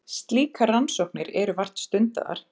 Slíkar rannsóknir eru vart stundaðar.